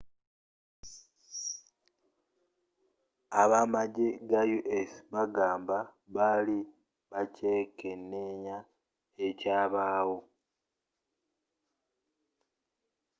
abamajje ga us bagamba bali bakyekeneenya ekyabaawo